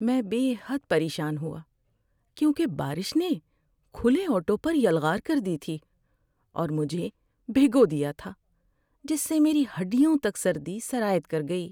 ‏میں بے حد پریشان ہوا کیونکہ بارش نے کھلے آٹو پر یلغار کر دی تھی اور مجھے بھگو دیا تھا جس سے میری ہڈیوں تک سردی سرایت کر گئی۔